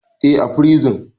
Eh, a prison